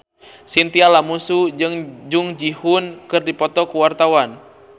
Chintya Lamusu jeung Jung Ji Hoon keur dipoto ku wartawan